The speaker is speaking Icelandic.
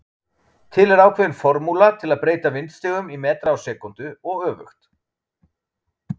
Til er ákveðin formúla til að breyta vindstigum í metra á sekúndu og öfugt.